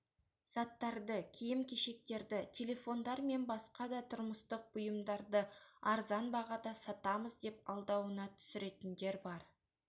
заттарды киім-кешектерді телефондар мен басқа да тұрмыстық бұйымдарды арзан бағада сатамыз деп алдауына түсіретіндер бар